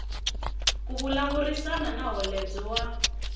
ku vulavurisana na holobye wa